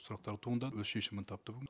сұрақтар туындады өз шешімін тапты бүгін